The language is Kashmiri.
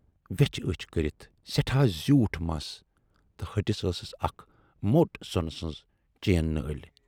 ویچھِ ٲچھۍ کٔرِتھ، سٮ۪ٹھاہ زیوٗٹھ مَس تہٕ ۂٹِس ٲسٕس اکھ موٹ سۅنہٕ سٕنز چین نٲلۍ۔